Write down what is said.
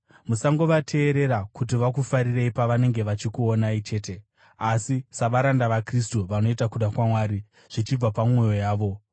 Musangovateerera kuti vakufarirei pavanenge vachikuonai chete, asi savaranda vaKristu, vanoita kuda kwaMwari zvichibva pamwoyo yavo.